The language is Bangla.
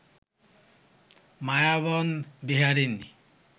মায়াবন বিহারিণী